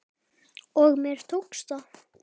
Og mér tókst það.